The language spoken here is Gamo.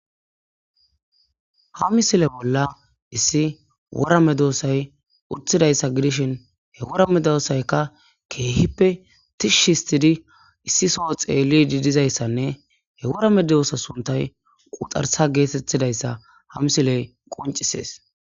ha misile bolla issi wora medoosay utthidayssa gidishin he worame doossaykka keehippe tishshi histidi issi soo xeellidi dizayssanne he wora medoosa suntay quxarsa geetettidayssa ha misiley qoncisees